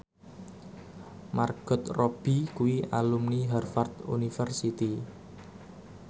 Margot Robbie kuwi alumni Harvard university